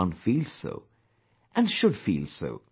everyone feels so and should feel so